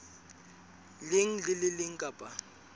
leng le le leng kapa